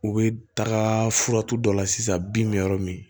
U bɛ taga furatu dɔ la sisan bin bɛ yɔrɔ min